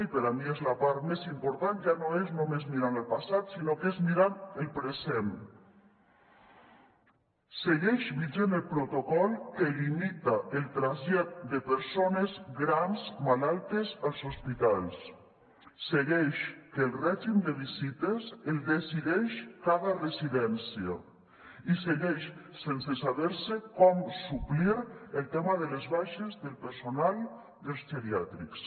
i per a mi és la part més important ja no és només mirant el passat sinó que es mirant el present segueix vigent el protocol que limita el trasllat de persones grans malaltes als hospitals segueix que el règim de visites el decideix cada residència i segueix sense saber se com suplir el tema de les baixes del personal dels geriàtrics